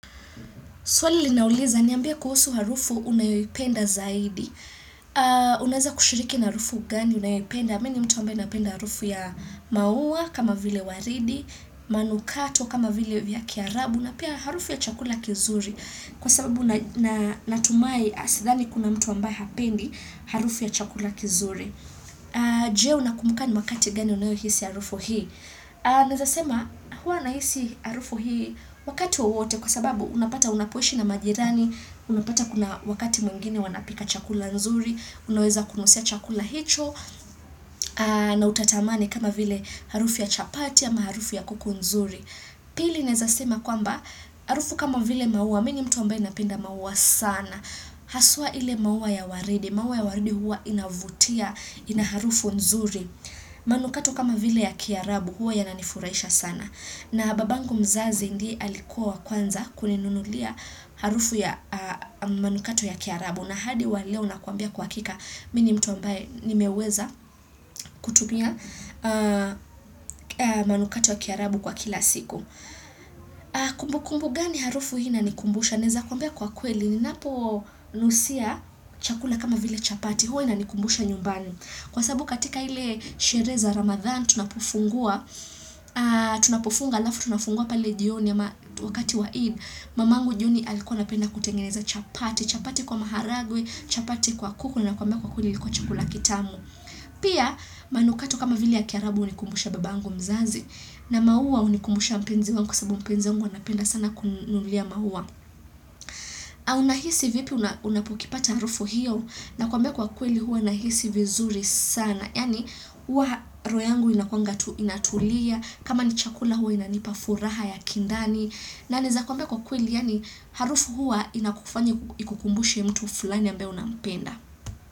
Swali linauliza, niambia kuhusu harufu unayoipenda zaidi. Unaweza kushiriki na harufu gani unayoipenda. Mi ni mtu ambaye napenda harufu ya maua, kama vile waridi, manukato, kama vile vya kiarabu, na pia harufu ya chakula kizuri. Kwa sababu natumai, sidhani kuna mtu ambaye hapendi harufu ya chakula kizuri. Je, unakumbuka ni wakati gani unayohisi harufu hii. Naeza sema huwa nahisi harufu hii wakati wowote kwa sababu unapata unapoishi na majirani, unapata kuna wakati mwingine wanapika chakula nzuri, unaweza kunusia chakula hicho na utatamani kama vile harufu ya chapati ama harufu ya kuku nzuri. Pili naeza sema kwamba harufu kama vile maua, mi ni mtu ambaye napenda maua sana. Haswa ile maua ya waridi, maua ya waridi huwa inavutia, inaharufu nzuri. Manukato kama vile ya kiarabu huwa yananifurahisha sana na babangu mzazi ndiye alikua kwanza kuninunulia harufu ya manukato ya kiarabu na hadi waleo na kuambia kwa hakika mini mtu ambaye ni meweza kutumia manukato ya kiarabu kwa kila siku Kumbu kumbu gani harufu hii inanikumbusha naeza kuambia kwa kweli ni napo nusia chakula kama vile chapati huwa inanikumbusha nyumbani kwasababu katika ile sherehe za ramadhan tunapofungua, tunapofunga alafu tunafungua pale jioni ama wakati wa eid, mamangu jioni alikuwa napenda kutengeneza chapati, chapati kwa maharagwe, chapati kwa kuku na kwambia kwa kweli ilikuwa chakula kitamu. Pia manukato kama vili ya kiarabu hunikumbusha babangu mzazi na maua hunikumbusha mpenzi wangu sababu mpenzi wangu anapenda sana kuninulia maua. Au unahisi vipi unapokipata harufu hiyo nakwambia kwa kweli huwa nahisi vizuri sana. Yaani huwa roho yangu inakuanga tu inatulia, kama ni chakula huwa inanipa furaha ya kindani. Na ninaeza kwambea kwa kweli yani harufu huwa inakufanya kukumbusha mtu fulani ambaye unampenda.